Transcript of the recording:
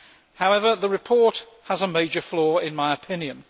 However, the report has a major flaw in my opinion.